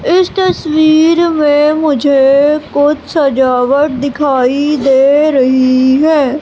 इस तस्वीर में मुझे कुछ सजावट दिखाई दे रही है।